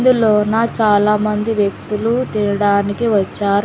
ఇందులోనా చాలా మంది వ్యక్తులు తినడానికి వచ్చారు.